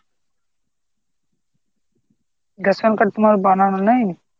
Ration card তোমার বানানো নাই?